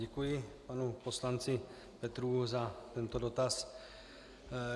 Děkuji panu poslanci Petrů za tento dotaz.